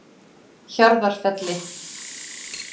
Hjarðarfelli